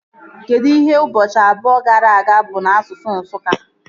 Kedụ ihe ụbọchị abụọ gara aga bụ n'asụsụ Nsụka?